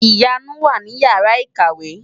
Ìyanu wà ní Ìyàrá-ìkàwé.